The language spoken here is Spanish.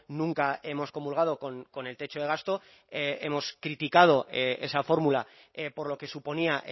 nunca hemos comulgado con el techo de gasto hemos criticado esa fórmula por lo que suponía